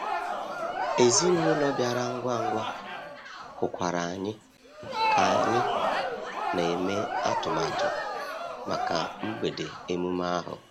Enyi ezinụlọ bịara ngwa ngwa, hụkwara anyị ka anyị ka na-eme atụmatụ maka mgbede emume ahụ.